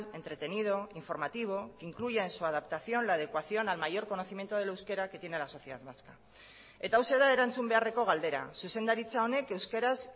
entretenido informativo que incluya en su adaptación la adecuación al mayor conocimiento del euskera que tiene la sociedad vasca eta hauxe da erantzun beharreko galdera zuzendaritza honek euskaraz